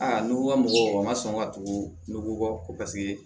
Aa n'u ko ka mɔgɔ ma sɔn ka tugu n ko paseke